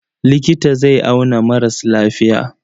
Likita zai auna maras lafiya.